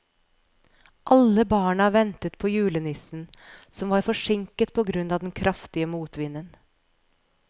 Alle barna ventet på julenissen, som var forsinket på grunn av den kraftige motvinden.